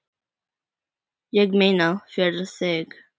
Ég meina, fyrir þig.